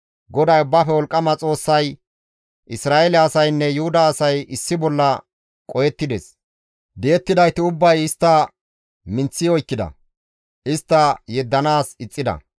GODAY Ubbaafe Wolqqama Xoossay, «Isra7eele asaynne Yuhuda asay issi bolla qohettides; di7idayti ubbay istta minththi oykkida; istta yeddanaas ixxida.